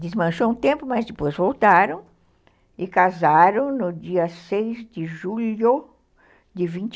Desmanchou um tempo, mas depois voltaram e casaram no dia seis de julho de vinte